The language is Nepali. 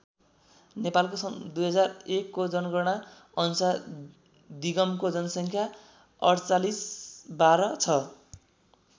नेपालको सन् २००१ को जनगणना अनुसार दिगमको जनसङ्ख्या ४८१२ छ।